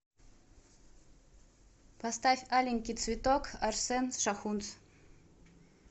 поставь аленький цветок арсен шахунц